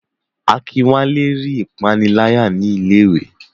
Akinwale rí ìpániláyà ní ilé iwé.